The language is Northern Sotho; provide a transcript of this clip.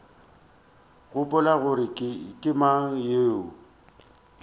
gopola gore ke mang yo